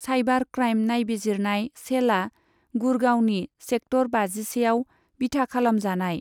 Cyber crime नायबिजिरनाय सेलआ गुड़गांवनि सेक्टर बाजिसेआव बिथा खालामजानाय।